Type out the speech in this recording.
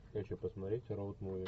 хочу посмотреть роуд муви